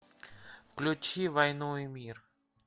включи войну и мир